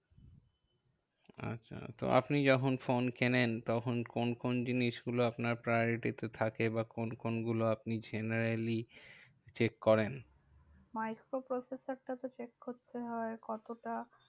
আচ্ছা তো আপনি যখন ফোন কেনেন তখন কোন কোন জিনিসগুলো আপনার priority তে থাকে? বা কোন কোন গুলো আপনি generally check করেন? microprocessor টা তো check করতে হয়। কতটা